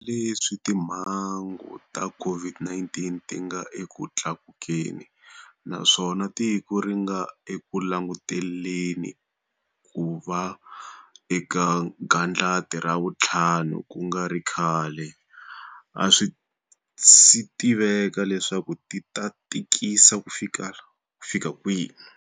Hambileswi timhangu ta COVID-19 ti nga eku tlakukeni naswona tiko ri nga eku languteleni ku va eka gandlati ra vuntlhanu ku nga ri khale, a swi si tiveka leswaku ri ta tikisa kufika kwihi.